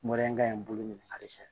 ka ɲi bolo ɲini fɛ